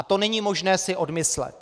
A to není možné si odmyslet.